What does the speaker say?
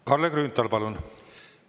Kalle Grünthal, palun!